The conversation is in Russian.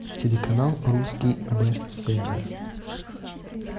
телеканал русский бестселлер